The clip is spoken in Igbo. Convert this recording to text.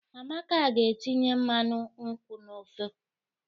Amaka ga-etinye mmanụ nkwu n'ofe.